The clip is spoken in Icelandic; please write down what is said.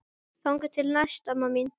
Þangað til næst amma mín.